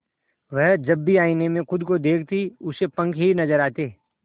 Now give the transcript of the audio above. वह जब भी आईने में खुद को देखती उसे पंख ही नजर आते